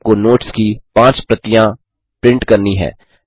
आपको नोट्स की पाँच प्रतियाँ प्रिंट करनी हैं